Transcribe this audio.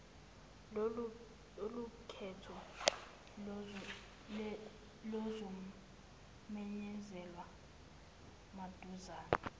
lolukhetho luzomenyezelwa maduzane